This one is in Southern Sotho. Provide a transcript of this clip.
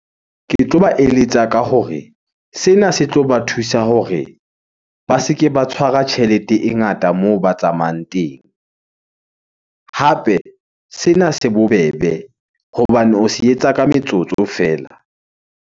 Ke tlo ba eletsa ka hore sena se tloba thusa hore ba se ke ba tshwara tjhelete e ngata moo ba tsamayang teng. Hape sena se bobebe hobane o se etsa ka metsotso feela.